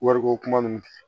Wariko kuma ninnu